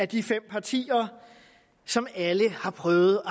de fem partier som alle har prøvet at